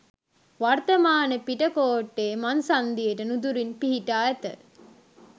වර්තමාන පිටකෝට්ටේ මං සන්ධියට නුදුරින් පිහිටා ඇත.